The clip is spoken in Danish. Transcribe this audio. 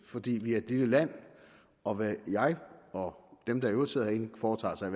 fordi vi er et lille land og hvad jeg og dem der i øvrigt sidder herinde foretager os er